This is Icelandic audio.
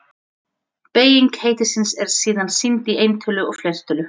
Beyging heitisins er síðan sýnd í eintölu og fleirtölu.